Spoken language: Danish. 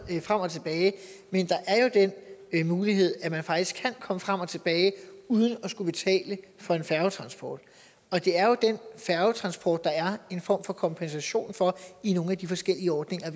men der er jo den mulighed at man faktisk kan komme frem og tilbage uden at skulle betale for en færgetransport og det er jo den færgetransport der er en form for kompensation for i nogle af de forskellige ordninger